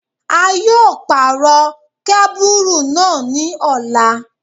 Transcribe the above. A yóò pàrọ̀ kábùrù náà ní ọ̀la.